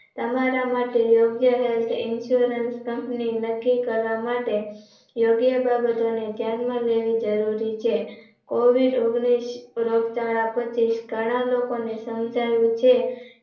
તમારા માટે યોગ્ય Health Insurance company નક્કી કરવા માટે યોગ્ય બાબતોને ધ્યાનમાં લેવી જરૂરી છે COVID ઓગણીસ રોગચાળા પછી ઘણા લોકોને સમજાયું છે.